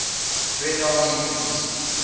red army units